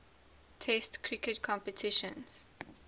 test cricket competitions